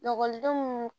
Lakɔlidenw